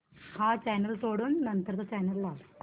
हा चॅनल सोडून नंतर चा चॅनल लाव